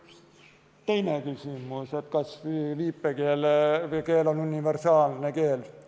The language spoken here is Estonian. Teine küsimus, kas viipekeel on universaalne keel.